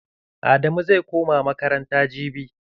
Adamu zai koma makaranta jibi.